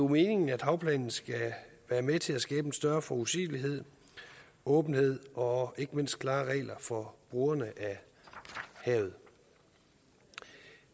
meningen at havplanen skal være med til at skabe en større forudsigelighed åbenhed og ikke mindst klare regler for brugerne af havet